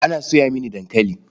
Ana soya mini dankali.